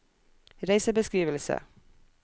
reisebeskrivelse